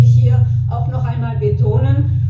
Das möchte ich hier auch noch einmal betonen.